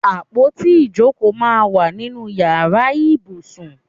Àpótí ìjókòó máa ń wà nínú ìyára ibùsùn.